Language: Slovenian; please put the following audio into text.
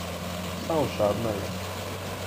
Vsa ošabna je.